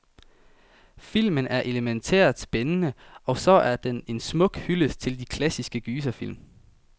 Filmen er elemæntært spændende, og så er den en smuk hyldest til de klassiske gyserfilm.